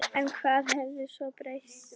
En hvað hafði svo breyst?